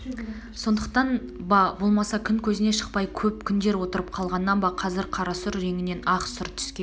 сондықтан ба болмаса күн көзіне шықпай көп күндер отырып қалғаннан ба қазір қара сұр реңінен ақ сұр түске